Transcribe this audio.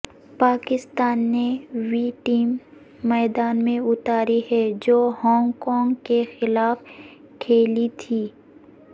پاکستان نے وہی ٹیم میدان میں اتاری ہے جو ہانگ کانگ کے خلاف کھیلی تھی